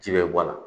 Ji bɛ bɔ a la